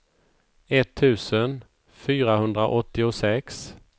etttusen fyrahundraåttiosex